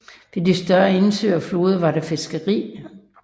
Ved de større indsøer og floderne var der fiskeri